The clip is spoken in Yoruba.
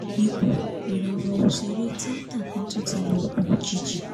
ikú ìràwọ̀ òṣèré ẹ̀ tíátà kan tún ti wọ̀ọ̀kùn òjijì